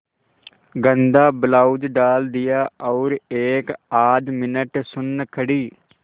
गंदा ब्लाउज डाल दिया और एकआध मिनट सुन्न खड़ी